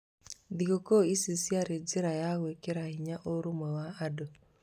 Thigũkũ ici ciarĩ njĩra ya gwĩkĩra hinya ũrũmwe wa andũ.